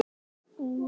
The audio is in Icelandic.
Fremur hlýtt.